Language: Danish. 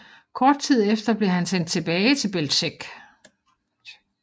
Kort tid efter blev han sendt tilbage til Bełżec